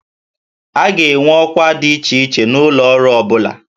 A ga-enwe ọkwa dị iche iche n'ụlọ ọrụ ọ bụla